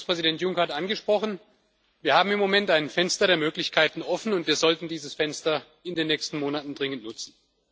Kommissionspräsident Juncker hat angesprochen Wir haben im Moment ein Fenster der Möglichkeiten offen und wir sollten dieses Fenster in den nächsten Monaten dringend nutzen.